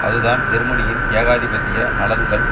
அதுதான் ஜெர்மனியின் ஏகாதிபத்திய நலன்கள்